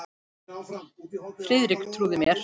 Friðrik trúði mér.